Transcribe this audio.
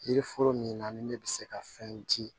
Yiri foro min na ni ne bɛ se ka fɛn di